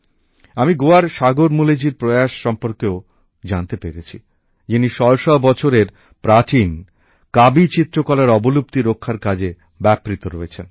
আমি গোয়ার সাগর মূলেজীর প্রয়াস সম্বন্ধেও জানতে পেরেছি যিনি শয়ে শয়ে বছরের প্রাচীন কাবী চিত্রকলার অবলুপ্তি রক্ষার কাজে ব্যাপৃত রয়েছেন